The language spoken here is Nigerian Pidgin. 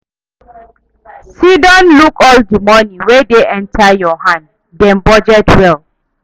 Sidon look all di money wey dey enter your hand, then budget well